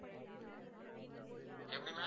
எப்படி ma'am